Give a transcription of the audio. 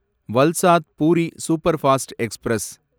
Valsad Puri superfast express